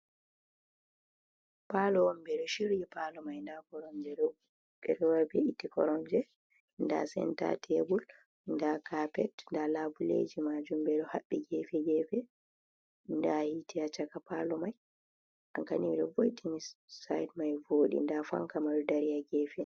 Palo ɓeɗo shiryi palo mai nda koromje, nda senta tebul, nda kapet nda labuleji, majum beɗo haɓɓi gefe gefe, nda hita haa caka palo mai side mai vodi nda fanka madu dari ha gefe.